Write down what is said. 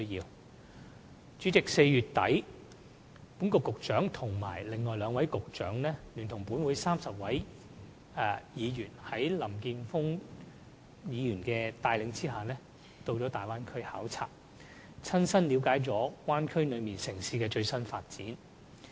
代理主席 ，4 月底，本局局長和另外兩位局長，在林健鋒議員帶領下，聯同立法會30名議員，一同到了大灣區考察，親身了解大灣區內城市的最新發展情況。